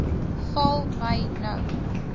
val my nou